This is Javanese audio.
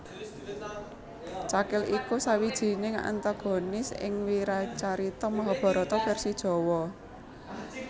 Cakil iku sawijining antagonis ing wiracarita Mahabharata vèrsi Jawa